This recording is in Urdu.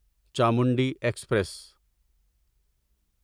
چامنڈی ایکسپریس